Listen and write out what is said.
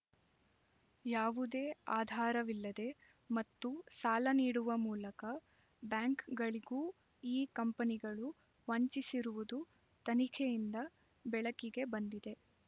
ಯಾವುದೇ ಆಧಾರವಿಲ್ಲದೆ ಮತ್ತು ಸಾಲ ನೀಡುವ ಮೂಲಕ ಬ್ಯಾಂಕ್‌ಗಳಿಗೂ ಈ ಕಂಪನಿಗಳು ವಂಚಿಸಿರುವುದು ತನಿಖೆಯಿಂದ ಬೆಳಕಿಗೆ ಬಂದಿದೆ